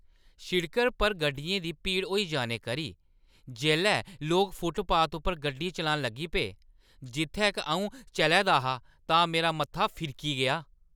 सड़कै पर गड्डियें दी भीड़ होई जाने करी जेल्लै लोक फुटपाथ उप्पर गड्डी चलान लगी पे जित्थै क अऊं चलै दा हा तां मेरा मत्था फिरकी गेआ।